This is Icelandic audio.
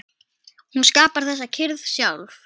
Hún skapar þessa kyrrð sjálf.